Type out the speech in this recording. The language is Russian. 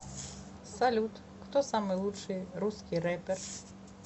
салют кто самый лучший русский рэпер